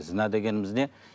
зінә дегеніміз не